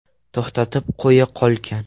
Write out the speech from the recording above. To‘xtatib qo‘ya qolgan.